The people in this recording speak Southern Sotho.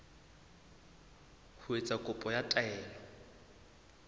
ho etsa kopo ya taelo